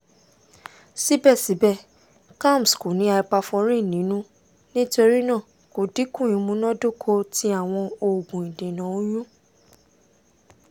sibẹsibẹ kalms ko ni hyperforin ninu nitorinaa ko dinku imunadoko ti awọn oogun idena oyun